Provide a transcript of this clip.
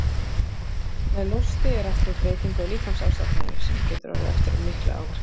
Með losti er átt við breytingu á líkamsástandinu, sem getur orðið eftir mikla áverka.